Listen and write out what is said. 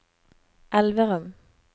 Elverum